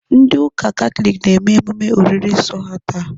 Ndị ụka Katọlik na-eme emume oriri nsọ ha taa.